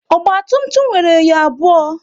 Ogba tum tum nwere enyo abụọ